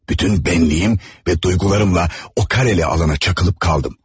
Bütün bənliyim və duygularımla o kareli alana çakılıp qaldım.